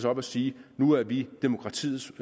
op og siger nu er vi demokratiets